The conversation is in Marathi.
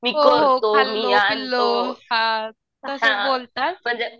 मी करतो हां म्हणजे